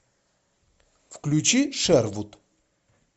включи шервуд